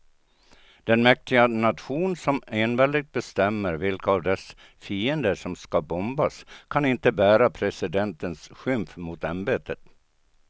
Den mäktiga nation som enväldigt bestämmer vilka av dess fiender som ska bombas kan inte bära presidentens skymf mot ämbetet.